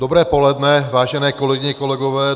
Dobré poledne, vážené kolegyně, kolegové.